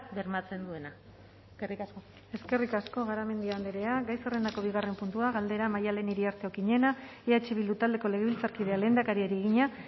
bermatzen duena eskerrik asko eskerrik asko garamendi andrea gai zerrendako bigarren puntua galdera maddalen iriarte okiñena eh bildu taldeko legebiltzarkideak lehendakariari egina